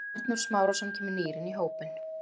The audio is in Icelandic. Arnór Smárason kemur nýr inn í hópinn.